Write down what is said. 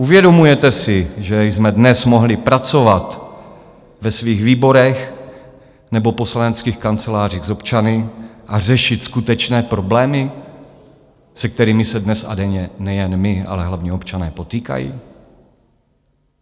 Uvědomujete si, že jsme dnes mohli pracovat ve svých výborech nebo poslaneckých kancelářích s občany a řešit skutečné problémy, se kterými se dnes a denně nejen my, ale hlavně občané potýkají?